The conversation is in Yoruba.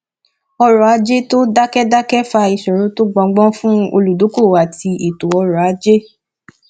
ọrọ ajé tó dákẹdákẹ fa ìṣòro tó gbọngbọn fún olùdókòwò àti eto ọrọ ajé